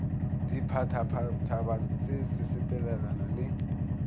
ditphabatphaba se se sepelelana le